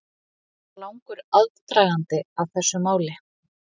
Var langur aðdragandi að þessu máli?